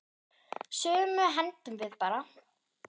Sumu hendum við bara.